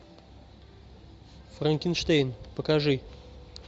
франкенштейн покажи